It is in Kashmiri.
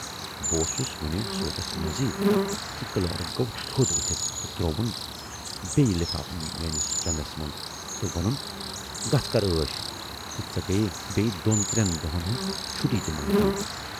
بہٕ اوسُس وُنہِ سوٗنچس منزٕے زِ کلٲرٕک گَو تھود ؤتھِتھ تہٕ ترووُن بییہِ لفافہٕ میٲنِس چٮ۪ندس منز تہٕ وونُن، گَژھ کَر ٲش تہٕ ژے گٔیی بییہِ دۅہن ترٮ۪ن دۅہَن ہٕنز چھُٹی تہِ منظوٗر